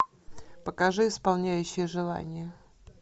покажи исполняющий желания